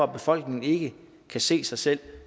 befolkningen ikke kan se sig selv i